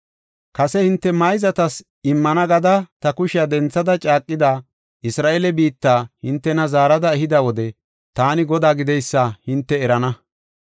Kase hinte mayzatas immana gada ta kushiya denthada caaqida Isra7eele biitta hintena zaarada ehida wode taani Godaa gideysa hinte erana.